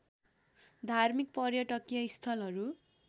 धार्मिक पर्यटकीय स्थलहरू